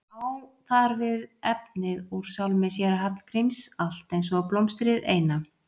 Á þar við efnið úr sálmi séra Hallgríms Allt eins og blómstrið eina.